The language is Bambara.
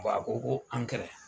Bɔn a ko ko ankɛrɛ.